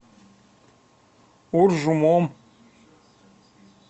уржумом